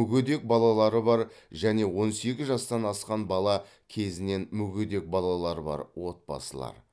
мүгедек балалары бар және он сегіз жастан асқан бала кезінен мүгедек балалары бар отбасылар